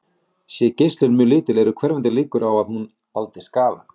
Sé geislun mjög lítil eru hverfandi líkur á því að hún valdi skaða.